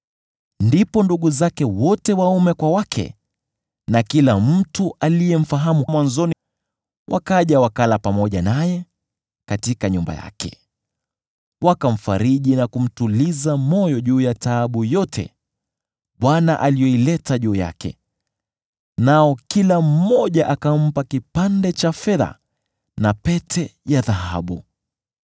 Ndipo ndugu zake wote waume kwa wake na kila mtu aliyemfahamu mwanzoni, wakaja wakala pamoja naye katika nyumba yake. Wakamfariji na kumtuliza moyo juu ya taabu yote Bwana aliyoileta juu yake, nao kila mmoja akampa kipande cha fedha na pete ya dhahabu.